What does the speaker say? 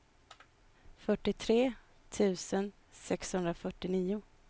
fyrtiotre tusen sexhundrafyrtionio